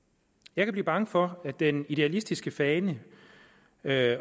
jeg kan blive bange for at den idealistiske fane med